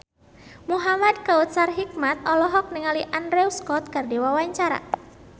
Muhamad Kautsar Hikmat olohok ningali Andrew Scott keur diwawancara